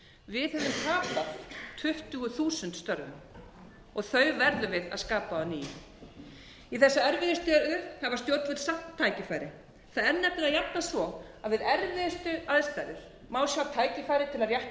við höfum tapað tuttugu þúsund störfum þau verðum við að skapa á ný í þessari erfiðu stöðu hafa stjórnvöld samt tækifæri það er nefnilega jafnan svo við erfiðustu aðstæður má sjá tækifæri til að rétta úr